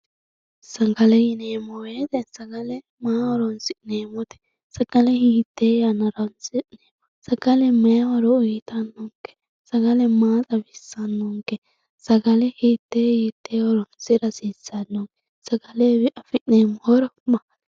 sagale yineemo woyiite sagale maaho horonsi'neemote sagale hiitee yannara horonsi'neemo sagale may horo uyiitannonke sagale maa xawisannonke sagale hitee hitee horonsira hasiisannonke sagalewii afi'neemo horo maati